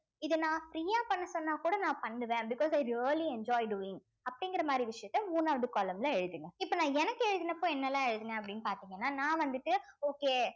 இது நான் free அ பண்ண சொன்னாக்கூட நான் பண்ணுவேன் because i really enjoy doing அப்படிங்கிற மாதிரி விஷயத்த மூணாவது column ல எழுதுங்க இப்ப நான் எனக்கு எழுதினப்ப என்னெல்லாம் எழுதினேன் அப்படின்னு பார்த்தீங்கன்னா நான் வந்துட்டு okay